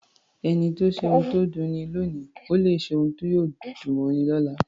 Ẹni tó ṣe ohun tó dunni lóòní lè ṣe ohun tí yóò dùn mọ́ni lọ́la.